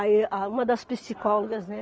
Aí a uma das psicólogas, né?